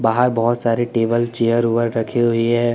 बाहर बहोत सारे टेबल चेयर वेयर रखी हुई है।